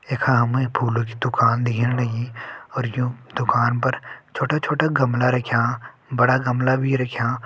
यखह हमें फूलो की दुकान दिख्याणी और यूं दुकान पर छोटे-छोटे गमला राख्यां बड़ा गमला भी राख्यां।